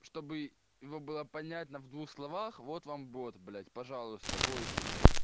чтобы его было понятно в двух словах вот вам бот блять пожалуйста войсе блять